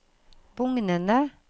bugnende